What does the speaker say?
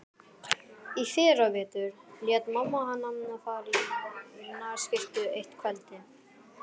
Í fyrravetur lét mamma hana fara í nærskyrtu eitt kvöldið.